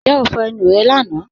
Ǹjẹ́ o fọ́ ẹnu rẹ́ lána?